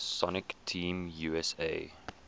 sonic team usa